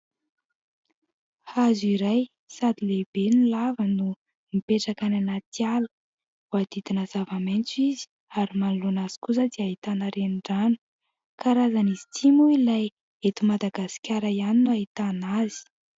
Hazo iray sady lehibe ny lava no mipetraka ny anaty ala, voadidina zava-maintso izy ary manoloana azy kosa dia ahitana renirano ; karazan'izy ity moa ilay eto Madagasikara ihany no ahitana azy.